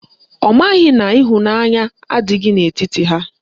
Ọ maghị na ịhụnanya adịghị n'etiti ha